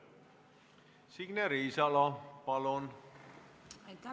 Signe Riisalo, palun!